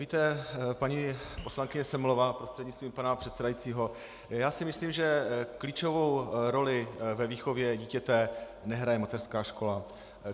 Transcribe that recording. Víte, paní poslankyně Semelová prostřednictvím pana předsedajícího, já si myslím, že klíčovou roli ve výchově dítěte nehraje mateřská škola.